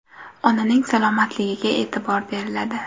Onaning salomatligiga e’tibor beriladi.